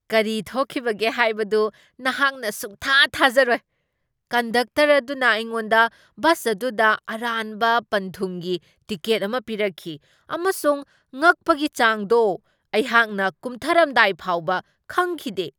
ꯀꯔꯤ ꯊꯣꯛꯈꯤꯕꯒꯦ ꯍꯥꯏꯕꯗꯨ ꯅꯍꯥꯛꯅ ꯁꯨꯛꯊꯥ ꯊꯥꯖꯔꯣꯏ ! ꯀꯟꯗꯛꯇꯔ ꯑꯗꯨꯅ ꯑꯩꯉꯣꯟꯗ ꯕꯁ ꯑꯗꯨꯗ ꯑꯔꯥꯟꯕ ꯄꯟꯊꯨꯡꯒꯤ ꯇꯤꯀꯦꯠ ꯑꯃ ꯄꯤꯔꯛꯈꯤ, ꯑꯃꯁꯨꯡ ꯉꯛꯄꯒꯤ ꯆꯥꯡꯗꯣ ! ꯑꯩꯍꯥꯛꯅ ꯀꯨꯝꯊꯔꯝꯗꯥꯏ ꯐꯥꯎꯕ ꯈꯪꯈꯤꯗꯦ !